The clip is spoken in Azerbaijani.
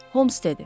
Houms dedi.